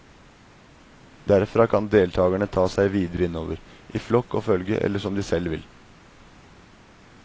Derfra kan deltagerne ta seg videre innover, i flokk og følge, eller som de selv vil.